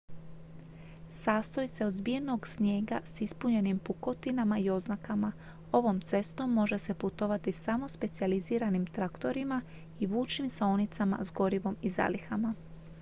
sastoji se od zbijenog snijega s ispunjenim pukotinama i oznakama ovom cestom može se putovati samo specijaliziranim traktorima i vučnim saonicama s gorivom i zalihama